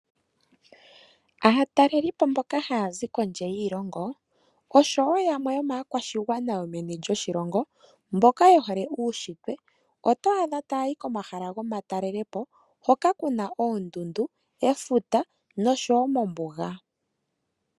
Aatalelipo mboka haya zi kondje yiilongo osho woo yamwe yomaakwashigwana yo meni lyoshilongo. Mboka yehole uunshitwe oto adha taya yi komahala gomatalelepo hoka kuna oondundu, efuta nosho woo ombuga.